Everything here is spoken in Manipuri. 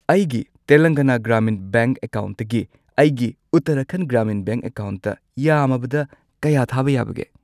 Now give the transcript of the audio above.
ꯑꯩꯒꯤ ꯇꯦꯂꯪꯒꯥꯅꯥ ꯒ꯭ꯔꯥꯃꯤꯟ ꯕꯦꯡꯛ ꯑꯦꯀꯥꯎꯟꯠꯇꯒꯤ ꯑꯩꯒꯤ ꯎꯠꯇꯔꯥꯈꯟꯗ ꯒ꯭ꯔꯥꯃꯤꯟ ꯕꯦꯡꯛ ꯑꯦꯀꯥꯎꯟꯠꯇ ꯌꯥꯝꯃꯕꯗ ꯀꯌꯥ ꯊꯥꯕ ꯌꯥꯕꯒꯦ?